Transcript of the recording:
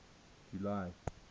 july